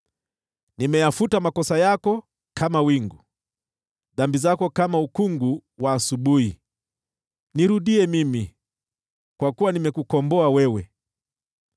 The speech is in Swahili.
Nimeyafuta makosa yako kama wingu, dhambi zako kama ukungu wa asubuhi. Nirudie mimi, kwa kuwa nimekukomboa wewe.”